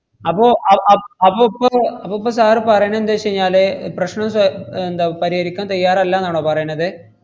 അപ്പോ അഹ് അ~ അപ്പൊ ഇപ്പൊ അപ്പൊ ഇപ്പൊ sir പറയണ എന്തെച്ചെഞ്ഞാല് പ്രശ്‌നം സ~ ഏർ എന്താ പരിഹരിക്കാൻ തയ്യാറല്ലാന്നാണോ പറയണത്?